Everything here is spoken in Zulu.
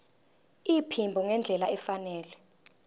iphimbo ngendlela efanele